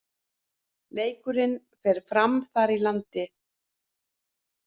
Leikurinn fer fram þar í landi